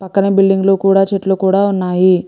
పక్కన బిల్డింగ్ కూడా చెట్లు కూడా ఉన్నాయి.